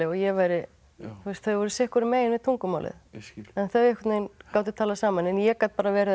ég væri þau voru sitt hvoru megin við tungumálið en þau gátu talað saman en ég gat bara verið að